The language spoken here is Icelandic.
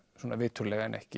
svona viturlega en ekki